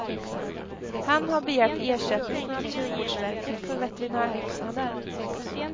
Han har begärt ersättning från naturvårdsverket för veterinärkostnader.